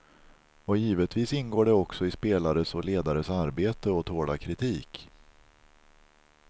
Och givetvis ingår det också i spelares och ledares arbete att tåla kritik.